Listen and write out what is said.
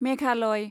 Meghalaya